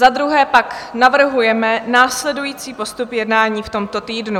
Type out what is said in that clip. Za druhé pak navrhujeme následující postup jednání v tomto týdnu: